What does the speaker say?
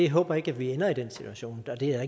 håber ikke at vi ender i den situation og det er